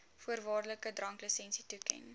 voorwaardelike dranklisensie toeken